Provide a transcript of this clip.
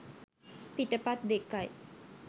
පිටපත් දෙකයි.